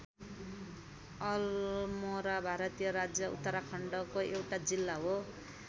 अलमोरा भारतीय राज्य उत्तराखण्डको एउटा जिल्ला हो।